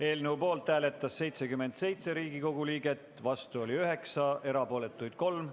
Eelnõu poolt hääletas 77 Riigikogu liiget, vastu oli 9 ja erapooletuid 3.